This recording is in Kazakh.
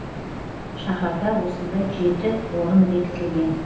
шаһарда осындай жеті орын бекітілген